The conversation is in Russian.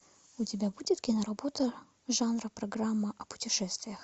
у тебя будет кино работа жанра программа о путешествиях